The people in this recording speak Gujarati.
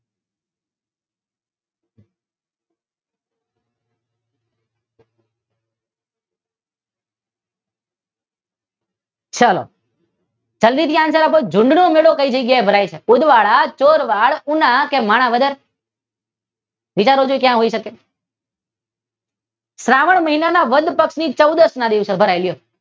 ચાલો આપડે ફરીથી ઝૂંડનો મેળો ક્યાં ભરાયછે ઉદવાડા ચોરવાડ, ઉના કે પછી માણાવદર? વધારે વધારે ક્યાં આવી શકે? શ્રાવણ મહિના ની વદ પક્ષ ના ચૌદશ ના દિવસે ભરાય